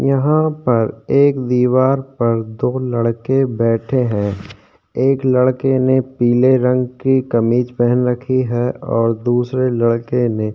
यहाँ पर एक दीवार पर दो लड़के बैठे हैं एक लड़के ने पीले रंग की कमीज पहन रखी है और दूसरे लड़के ने --